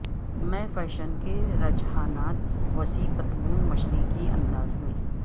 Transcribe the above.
میں فیشن کے رجحانات وسیع پتلون مشرقی انداز میں